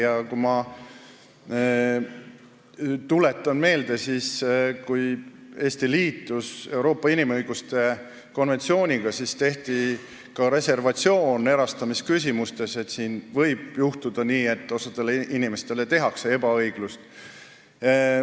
Ja ma tuletan meelde, et siis, kui Eesti liitus Euroopa inimõiguste konventsiooniga, tehti ka reservatsioon erastamisküsimustes, märkides, et võib juhtuda nii, et osale inimestele tekitatakse ebaõiglust.